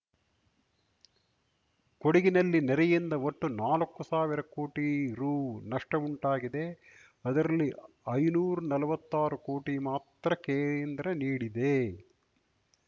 ಕೊಡಗಿನಲ್ಲಿ ನೆರೆಯಿಂದ ಒಟ್ಟು ನಾಲಕ್ಕು ಸಾವಿರ ಕೋಟಿ ರು ನಷ್ಟಉಂಟಾಗಿದೆ ಅದರಲ್ಲಿ ಐನೂರ್ ನಲ್ವತ್ತಾರು ಕೋಟಿ ಮಾತ್ರ ಕೇಂದ್ರ ನೀಡಿದೆ